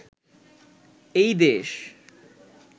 এই দেশ